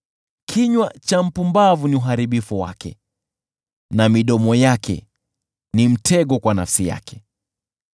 Kinywa cha mpumbavu ni uharibifu wake na midomo yake ni mtego kwa nafsi yake.